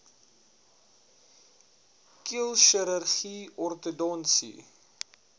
keel chirurgie ortodontiese